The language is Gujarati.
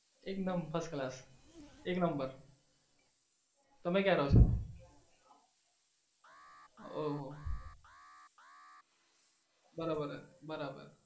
એકદમ first class એક number તમે કયા રો છો? ઓહો, બરાબર બરાબર.